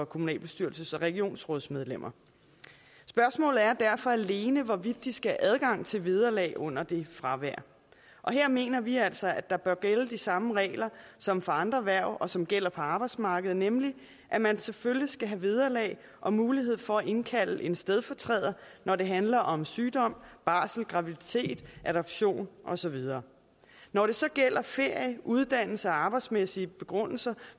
kommunalbestyrelses og regionsrådsmedlemmer spørgsmålet er derfor alene hvorvidt de skal have adgang til vederlag under det fravær og her mener vi altså at der bør gælde de samme regler som for andre hverv og som gælder på arbejdsmarkedet nemlig at man selvfølgelig skal have vederlag og mulighed for at indkalde en stedfortræder når det handler om sygdom barsel graviditet adoption og så videre når det så gælder ferie uddannelse og arbejdsmæssige begrundelser